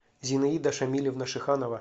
зинаида шамилевна шиханова